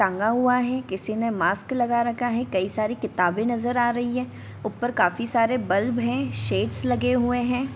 टंगा हुआ है किसी ने मास्क लगा रखा है कई सारे किताबें नज़र आ रही है ऊपर काफी सारे बल्ब हैं शेड्स लगे हुए हैं।